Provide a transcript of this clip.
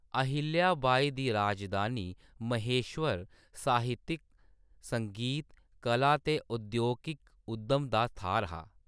अहिल्या बाई दी राजधानी महेश्वर साहित्यक, संगीत, कला ते औद्योगिक उद्यम दा थाह्‌र हा।